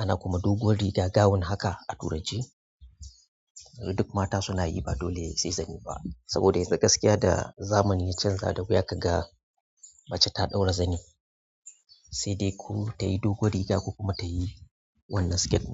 ana kuma doguwar riga gown haka a turance. Duk mata suna yi, ba dole sai zani ba. Saboda yanzu gaskiya da zamani ya canza, da gaya ka ga mace ta ɗaura zani, sai dai ko tayi doguwar riga ko kuma tayi wannan skirt.